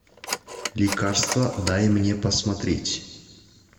лекарство дай мне посмотреть